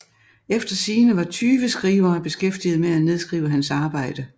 Efter sigende var tyve skrivere beskæftiget med at nedskrive hans arbejde